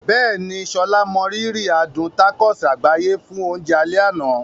Bẹ́ẹ̀ni, Sola mọrírì adùn tacos àgbáyé fún oúnjẹ alẹ́ àná.